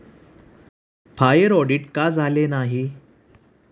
Fire audit का झाले नाही?